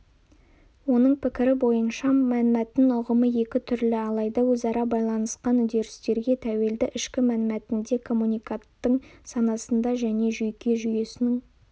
оның пікірі бойынша мәнмәтін ұғымы екі түрлі алайда өзара байланысқан үдерістерге тәуелді ішкі мәнмәтінде коммуниканттың санасында және жүйке жүйесінің